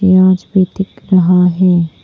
प्याज भी दिख रहा है।